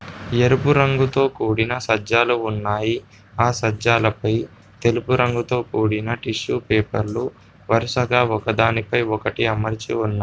ఎరుపు రంగుతో కూడిన సజ్జాలు ఉన్నాయి. ఆ సజ్జాలపై తెలుపు రంగుతో కూడిన టిష్యూ పేపర్లు వరుసగా ఒకదానిపై ఒకటి అమర్చి ఉన్నాయి.